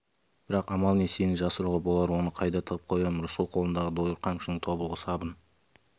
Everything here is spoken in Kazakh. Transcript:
бірақ амал не сені жасыруға болар оны қайда тығып қоямын рысқұл қолындағы дойыр қамшының тобылғы сабын